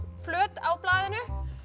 flöt á blaðinu